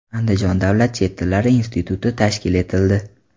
Andijon davlat chet tillari instituti tashkil etildi.